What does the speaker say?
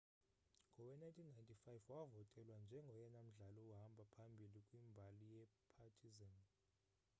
ngowe-1995 wavotelwa njengoyena mdlali uhamba phambili kwimbali yepartizan